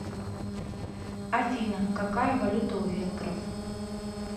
афина какая валюта у венгров